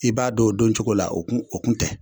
I b'a don o don cogo la, o kun o kun tɛ